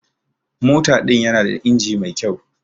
Mota din yana da inji mai kyau.